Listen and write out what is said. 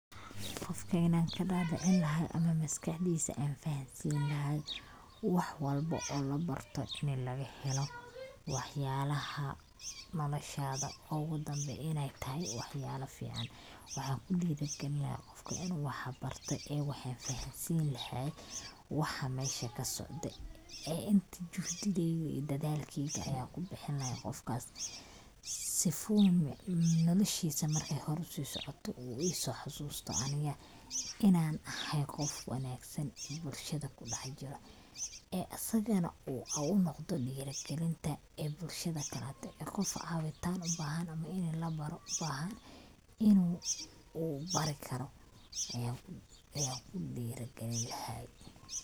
Qofkan inan ka dhadhicini laha ama maskaxdiisa an fahansini laha wax walbo oo la barto ini laga helo wax yalaha noloshada ogu dambe inay tahay wax yalaha fican, waxan kudhiiri gelin lahaa qofka inu wax barte ee waxan fahansin lahay waxa mesha kasocdo ee inta juhdigeyga iyo dadalkeyga ayan kubixin lahaa qofkas sifu noloshiisa markay hor usi socoto uu iso xasusto aniga inan ahay qof wanaagsan bulshada kudhax jiro ee asagana haunoqdo dhiiri gelinta bulshada dhaxdeda kaaso caawintan ubahan ama ini labaro ubahan inu uu bari karo ayan kudhiiri gelin lahay